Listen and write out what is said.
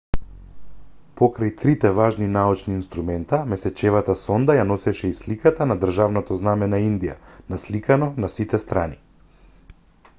покрај трите важни научни инструмента месечевата сонда ја носеше и сликата на државното знаме на индија насликано на сите страни